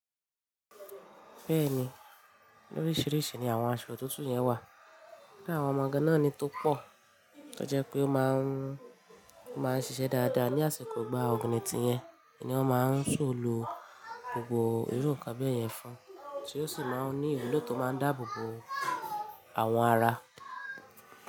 Bẹ́ẹ̀ni, lóríṣiríṣi ni awon aṣọ òtútù yẹn wa kíni àwọn ọmọ gan-an ni tó pọ̀ tó jẹ́ pé ó máa ń, ó máa ń ṣiṣẹ́ dáadáa ní àsìkò gba ọ̀gìgìnìtì yẹn, èyí ni wọ́n máa ń so lo gbogbo irú bẹ́ yẹn fún, tí ó sì máa ń ní ìwúlò tó máa ń dáàbò bo àwọn ara.